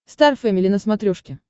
стар фэмили на смотрешке